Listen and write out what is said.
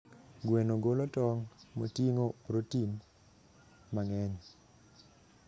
Gweno golo tong' moting'o protein mang'eny.